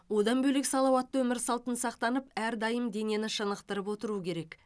одан бөлек салауатты өмір салтын сақтанып әрдайым денені шынықтырып отыру керек